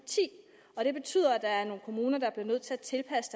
og ti det betyder at der er nogle kommuner der bliver nødt til at tilpasse